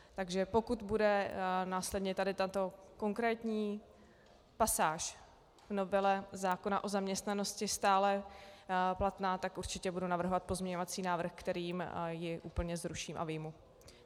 Takže pokud bude následně tady tato konkrétní pasáž v novele zákona o zaměstnanosti stále platná, tak určitě budu navrhovat pozměňovací návrh, kterým ji úplně zruším a vyjmu.